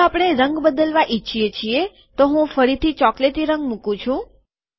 જો આપણે રંગ બદલવા ઈચ્છીએ છીએ તો હું ફરીથી ચોકલેટી રંગ મુકું છુ